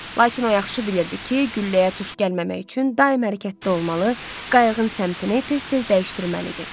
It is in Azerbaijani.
Lakin o yaxşı bilirdi ki, gülləyə tuş gəlməmək üçün daima hərəkətdə olmalı, qayığın səmtini tez-tez dəyişdirməlidir.